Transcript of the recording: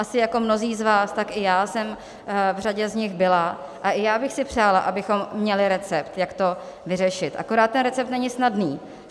Asi jako mnozí z vás, tak i já jsem v řadě z nich byla a i já bych si přála, abychom měli recept, jak to vyřešit, akorát ten recept není snadný.